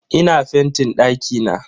Ina fentin dakina.